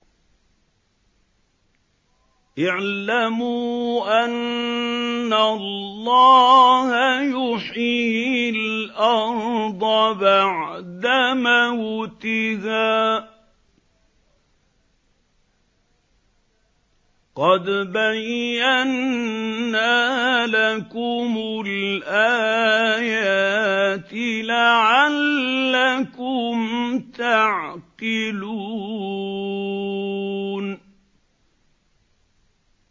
اعْلَمُوا أَنَّ اللَّهَ يُحْيِي الْأَرْضَ بَعْدَ مَوْتِهَا ۚ قَدْ بَيَّنَّا لَكُمُ الْآيَاتِ لَعَلَّكُمْ تَعْقِلُونَ